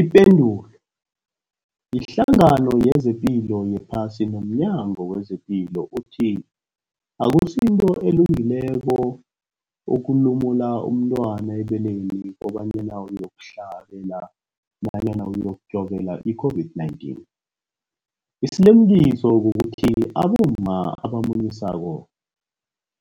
Ipendulo, iHlangano yezePilo yePhasi nomNyango wezePilo ithi akusinto elungileko ukulumula umntwana ebeleni kobanyana uyokuhlabela namkha uyokujovela i-COVID-19. Isilimukiso kukuthi abomma abamunyisako